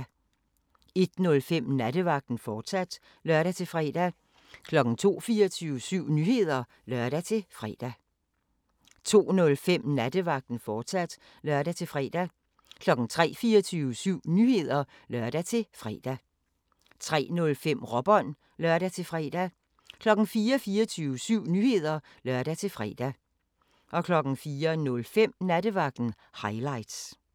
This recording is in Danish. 01:05: Nattevagten, fortsat (lør-fre) 02:00: 24syv Nyheder (lør-fre) 02:05: Nattevagten, fortsat (lør-fre) 03:00: 24syv Nyheder (lør-fre) 03:05: Råbånd (lør-fre) 04:00: 24syv Nyheder (lør-fre) 04:05: Nattevagten – highlights